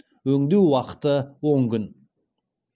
өңдеу уақыты он күн